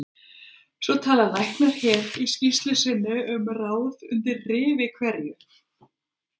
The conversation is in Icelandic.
Svo tala læknar hér í skýrslu sinni um ráð undir rifi hverju